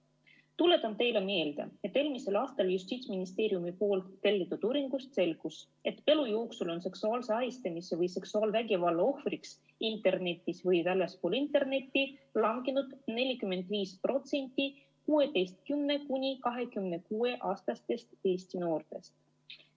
Tuletan teile meelde, et eelmisel aastal Justiitsministeeriumi tellitud uuringust selgus, et elu jooksul on seksuaalse ahistamise või seksuaalvägivalla ohvriks internetis või väljaspool internetti langenud 45% 16–26-aastastest Eesti noortest.